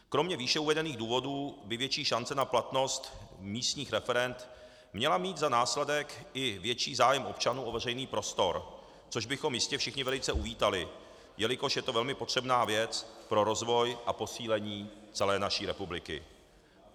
Kromě výše uvedených důvodů by větší šance na platnost místních referend měla mít za následek i větší zájem občanů o veřejný prostor, což bychom jistě všichni velice uvítali, jelikož je to velmi potřebná věc pro rozvoj a posílení celé naší republiky.